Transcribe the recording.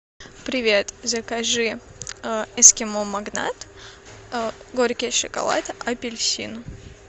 привет закажи эскимо магнат горький шоколад апельсин